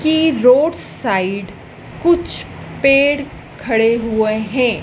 की road side कुछ पेड़ खड़े हुए है।